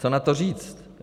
Co na to říct?